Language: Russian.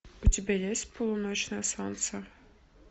у тебя есть полуночное солнце